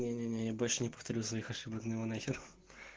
не не не я больше не повторю своих ошибок ну его нахер